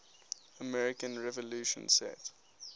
american revolution set